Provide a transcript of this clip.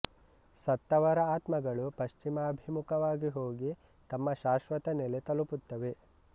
ಸತ್ತವರ ಆತ್ಮಗಳು ಪಶ್ಚಿಮಾಭಿಮುಖವಾಗಿ ಹೋಗಿ ತಮ್ಮ ಶಾಶ್ವತ ನೆಲೆ ತಲುಪುತ್ತವೆ